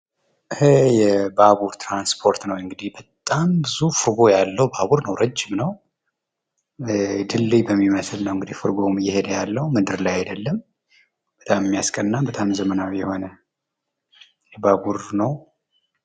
ይሄ የባቡር ትራንስፖርት ነው እንግዲህ በጣም ብዙ ፍርጎ ያለው ባቡር ነው ረጅም ነው ድልድይ በሚመስል ነው እንግዲህ እየሄደ ያለው መንደር ላይ አይደለም በጣም የሚያስቀና በጣም ዘመናዊ የሆነ ባቡር ነው።